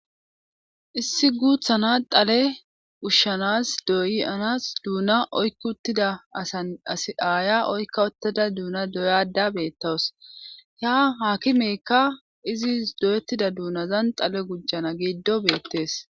issi guuthana dale ushshanas doyanas duuna oykki uttida asan as aaya oykka wottada duuna doyada beettawus ha haakimeykka izi doyettida duunazan xale gujjana giiddo beettees